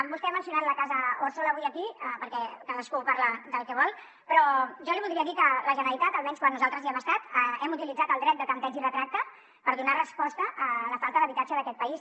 vostè ha mencionat la casa òrsola avui aquí perquè cadascú parla del que vol però jo li voldria dir que la generalitat almenys quan nosaltres hi hem estat hem utilitzat el dret de tanteig i retracte per donar resposta a la falta d’habitatge d’aquest país